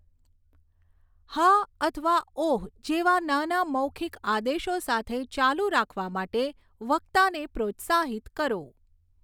હા અથવા ઓહ જેવા નાના મૌખિક આદેશો સાથે ચાલુ રાખવા માટે વક્તાને પ્રોત્સાહિત કરો.